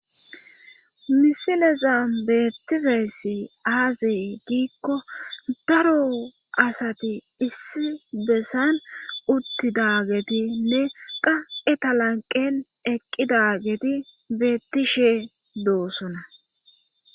misileza beettizayssi aaze giikko daro asati issi bessan uttidagetinne qa eta lanqen eqqidageti beettishe doosona.